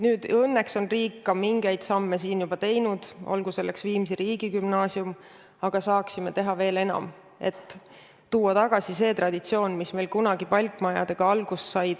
Nüüd õnneks on riik ka mingeid samme juba teinud – olgu selleks näiteks Viimsi Gümnaasium –, aga saaksime teha veel enam, et tuua tagasi traditsioon, mis meil kunagi palkmajadega alguse sai.